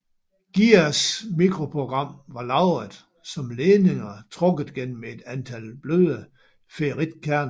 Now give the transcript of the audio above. GIERs mikroprogram var lagret som ledninger trukket gennem et antal bløde ferritkerner